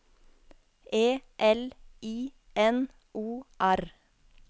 E L I N O R